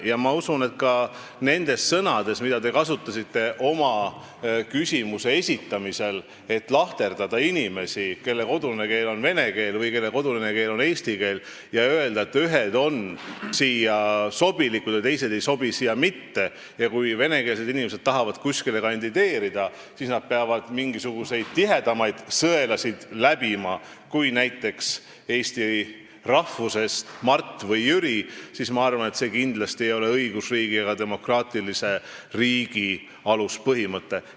Ja ma usun, et ka nendes sõnades, mida te kasutasite oma küsimuse esitamisel, lahterdades inimesi, kelle kodune keel on kas vene keel või eesti keel, öeldes, et ühed on siia sobilikud ja teised ei sobi siia mitte, ning kui venekeelsed inimesed tahavad kuskile kandideerida, siis nad peavad mingisuguseid tihedamaid sõelasid läbima kui näiteks eesti rahvusest Mart või Jüri, siis see kindlasti ei ole õigusriigi ega demokraatilise riigi aluspõhimõte.